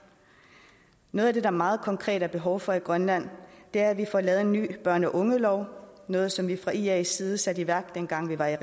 noget af det der meget konkret er behov for i grønland er at vi får lavet en ny børn og unge lov noget som vi fra ias side satte i værk dengang vi var i